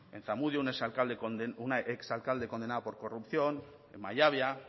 en zamudio una ex alcalde condenada por corrupción en mallabia